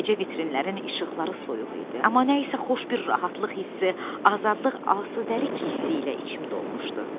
Gecə vitrinlərin işıqları soyuq idi, amma nəsə xoş bir rahatlıq hissi, azadlıq, asudəlik hissi ilə içim dolmuşdu.